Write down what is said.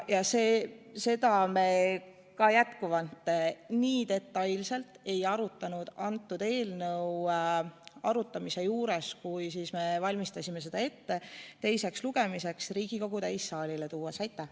Ka seda teemat me nii detailselt ei arutanud selle eelnõu menetlemisel, kui valmistasime seda ette Riigikogu täissaalile teiseks lugemiseks.